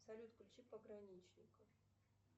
салют включи пограничников